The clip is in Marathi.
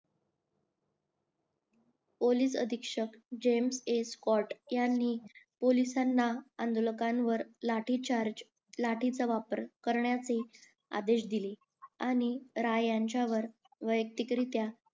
पोलीस अधीक्षक जेम एस कॉट ह्यांनी पोलिसांना आंदोलकांवर लाठी चार्ज लाठीचा वापर करण्यासही आदेश दिले आणि राय यांच्यावर वयक्तिक रित्या